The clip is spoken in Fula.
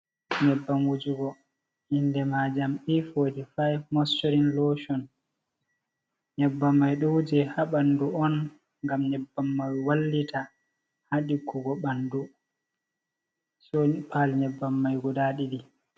Nyebbam wuujugo indemaajam E45 mocchoorin looshon, nyebbam mai ɗo wuuje ha ɓandu'on ngam nyebbam mai wallita haa ɗiggugo ɓandu ɗooni paali nyebbam mai guda ɗiɗi.